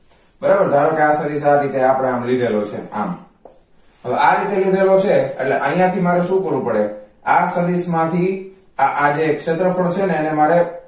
બરાબર ધારોકે આ સદિશ આ રીતે આપડે આમ લીધેલો છે આમ હવે આ રીતે લીધેલો છે એટલે આયાથી મારે શું કરવું પડે આ સદિશ માંથી આ આ જે ક્ષેત્રફળ છે ને એને મારે